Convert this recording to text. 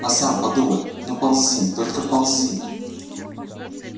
а сам думай ну ползи только ползи